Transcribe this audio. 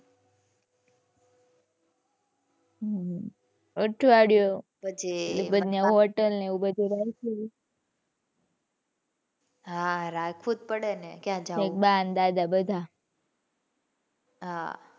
હમ્મ હમ્મ અઠવાડિયું પછી હોટેલ ને એવું બધુ રાખ્યું તું. હાં રાખવું જ પડે ને કયા જવું. ઠીક બા ને દાદા બધા. હાં. હમ્મ હમ્મ.